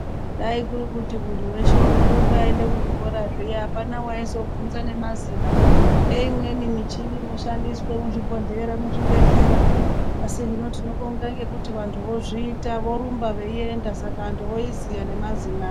Dai kuri kuti muntu weshe unorumba eiende kuzvikora zviya apana waizobvunza nemazina eimweni muchini inoshandiswe muzvibhodhlera muzvibhedhlera asi hino tinobonga ngekuti vantu vozviita vorumba veienda saka vantu voiziya nemazina aa.